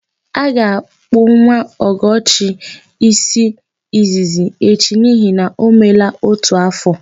A ga-akpụ nwa Ọgọchi ísí izizi echi n'ihi na o meela ótù áfọ̀.